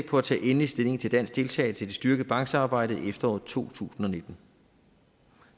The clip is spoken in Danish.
på at tage endelig stilling til dansk deltagelse i det styrkede banksamarbejde i efteråret to tusind og nitten